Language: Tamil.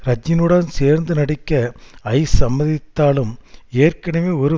ரஜினியுடன் சேர்ந்து நடிக்க ஐஸ் சம்மதித்தாலும் ஏற்கனவே ஒரு